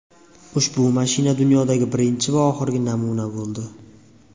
Ushbu mashina dunyodagi birinchi va oxirgi namuna bo‘ldi.